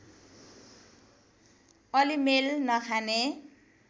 अलि मेल नखाने